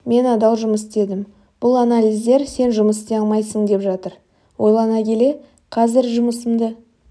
мен адал жұмыс істедім бұл анализдер сен жұмыс істей алмайсың деп жатыр ойлана келе қазір жұмысымды